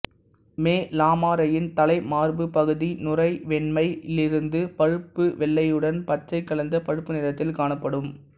மே லமாரேயின் தலை மார்புப் பகுதி நுரை வெண்மையிலிருந்து பழுப்பு வெள்ளையுடன் பச்சை கலந்த பழுப்பு நிறத்தில் காணப்படும்